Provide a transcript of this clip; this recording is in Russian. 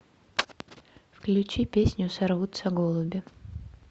включи песню сорвутся голуби